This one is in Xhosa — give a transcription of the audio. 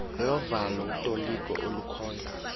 lovalo utoliko olukhoyo